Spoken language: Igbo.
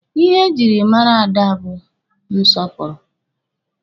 Ihe e jiri mara ada mụ bụ nsọpụrụ.